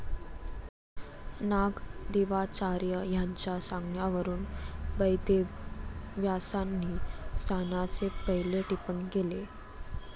नागदेवाचार्य यांच्या सांगण्यावरून बैदेवव्यासांनी स्थानाचे पहिले टिपण केले.